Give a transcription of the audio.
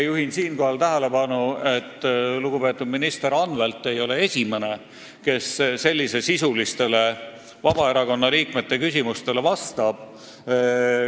Juhin siinkohal tähelepanu, et lugupeetud minister Anvelt ei ole esimene, kes sellisesisulistele Vabaerakonna liikmete küsimustele vastab.